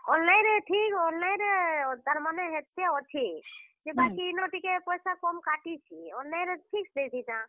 Online ରେ ଠିକ୍ online ରେ ତାର୍ ମାନେ ହେତେ ଅଛେ। ବାକି ଇନ ପଏସା ଟିକେ କମ୍ କାଟିଛେ। online ରେ ଠିକ୍ ଦେଇଥିତାଁ।